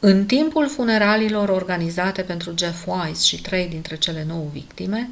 în timpul funeraliilor organizate pentru jeff wise și trei dintre cele nouă victime